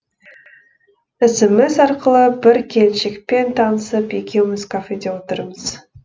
смс арқылы бір келіншекпен танысып екеуміз кафеде отырмыз